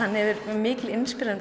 mikil